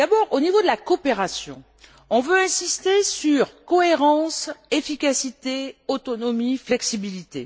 Au niveau de la coopération, on veut insister sur la cohérence, l'efficacité, l'autonomie, la flexibilité.